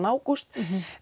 ágúst